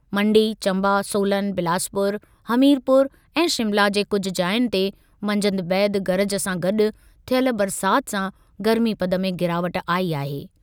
मण्डी, चम्बा, सोलन, बिलासपुर, हमीरपुर ऐं शिमला के कुझु जाहियुनि ते मंझंदि बैदि गरज सां गॾु थियल बरसात सां गर्मीपद में गिरावट आई आहे।